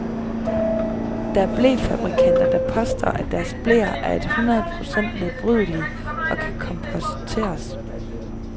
Der er blefabrikanter, der påstår, at deres bleer er et hundrede procent nedbrydelige og kan komposteres.